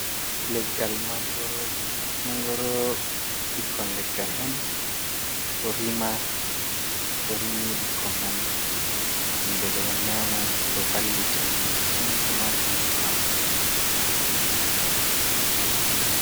Leggal mangoro. mangoro ɓikkon leggal on ɗo rima to rimi bikkoi man himbe ɗo nyama ɗo vallita masin. Ɗo mari nafu ha banɗu masin.